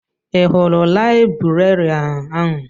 Ị hụrụ laịbrerịan ahụ?